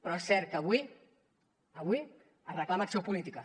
però és cert que avui avui es reclama acció política